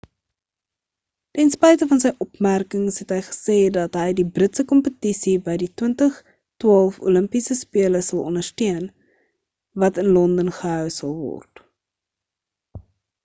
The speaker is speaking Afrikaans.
ten spyte van sy opmerkings het hy gesê dat hy die britse kompetisie by die 2012 olimpiese spele sal ondersteun wat in london gehou sal word